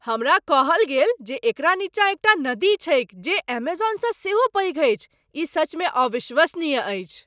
हमरा कहल गेल जे एकरा नीचाँ एकटा नदी छैक जे एमेजौनसँ सेहो पैघ अछि। ई सचमे अविश्वसनीय अछि!